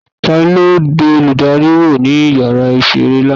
talo bẹ olùdarí wọ ní ìyára isé rẹ laná?